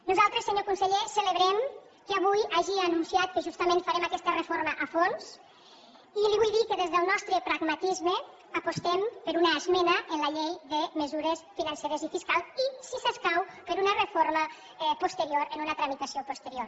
nosaltres senyor conseller celebrem que avui hagi anunciat que justament farem aquesta reforma a fons i li vull dir que des del nostre pragmatisme apostem per una esmena en la llei de mesures financeres i fiscals i si s’escau per una reforma posterior en una tramitació posterior